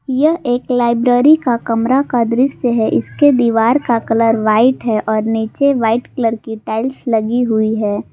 यह एक लाइब्रेरी का कमरा का दृश्य है इसके दीवार का कलर व्हाइट है और नीचे वाइट कलर की टाइल्स लगी हुई है।